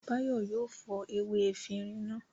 Báyọ̀ yóò fọ ewé efirin náà.